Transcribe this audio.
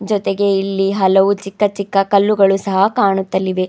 ಜೊತೆಗೆ ಇಲ್ಲಿ ಹಲವು ಚಿಕ್ಕ ಚಿಕ್ಕ ಕಲ್ಲುಗಳು ಸಹ ಕಾಣುತ್ತಲಿವೆ.